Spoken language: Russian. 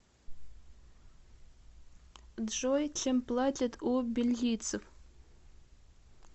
джой чем платят у бельгийцев